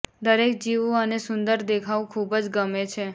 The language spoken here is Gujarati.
દરેક જીવો અને સુંદર દેખાવું ખૂબ જ ગમે છે